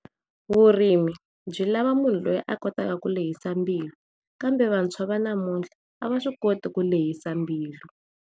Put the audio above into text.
Vurimi byi lava munhu loyi a kotaka ku lehisa mbilu kambe vantshwa va namuntlha a va swi koti ku lehisa mbilu.